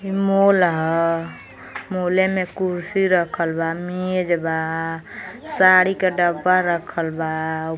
इ मोल ह। मोले में कुर्सी रखल बा मेज बा साड़ी के डब्बा रखल बा।